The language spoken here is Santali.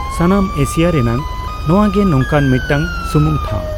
ᱥᱟᱱᱟᱢ ᱮᱥᱤᱭᱟ ᱨᱮᱱᱟᱜ ᱱᱚᱣᱟᱜᱮ ᱱᱚᱝᱠᱟᱱ ᱢᱤᱫᱴᱟᱝ ᱥᱩᱢᱩᱝ ᱴᱷᱟᱣ ᱾